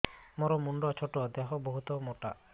ମୋର ମୁଣ୍ଡ ଛୋଟ ଦେହ ବହୁତ ମୋଟା